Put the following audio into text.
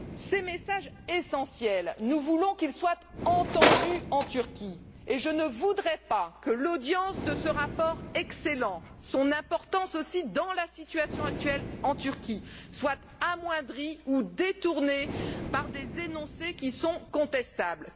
Ces messages essentiels, nous voulons qu'ils soient entendus en Turquie et je ne voudrais pas que l'audience de cet excellent rapport et son importance au regard de la situation actuelle en Turquie soient amoindries ou détournées par des énoncés qui sont contestables.